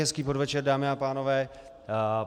Hezký podvečer, dámy a pánové.